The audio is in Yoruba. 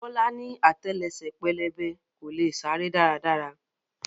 Bọ́lá ni àtẹlẹsẹ̀ pẹlẹbẹ, kò leè sáré dára dára.